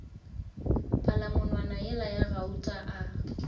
palamonwana yela ya gauta a